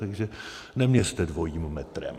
Takže neměřte dvojím metrem.